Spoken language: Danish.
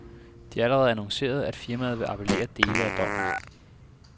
De har allerede annonceret, at firmaet vil appellere dele af dommen.